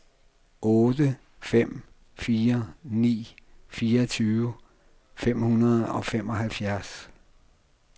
otte fem fire ni fireogtyve fem hundrede og femoghalvfjerds